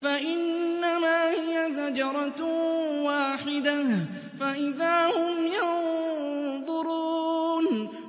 فَإِنَّمَا هِيَ زَجْرَةٌ وَاحِدَةٌ فَإِذَا هُمْ يَنظُرُونَ